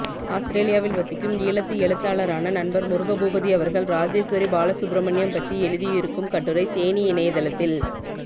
ஆஸ்திரேலியாவில் வசிக்கும் ஈழத்து எழுத்தாளரான நண்பர் முருகபூபதி அவர்கள் ராஜேஸ்வரி பாலசுப்ரமணியம் பற்றி எழுதியிருக்கும் கட்டுரை தேனீ இணையதளத்தில்